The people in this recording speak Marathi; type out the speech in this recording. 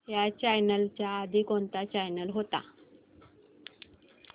ह्या चॅनल च्या आधी कोणता चॅनल होता